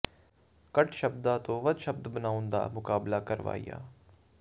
ਘੱਟ ਸ਼ਬਦਾਂ ਤੋਂ ਵੱਧ ਸ਼ਬਦ ਬਣਾਉਣ ਦਾ ਮੁਕਾਬਲਾ ਕਰਵਾਇਆ